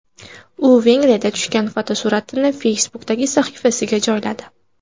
U Vengriyada tushgan fotosuratini Facebook’dagi sahifasiga joyladi .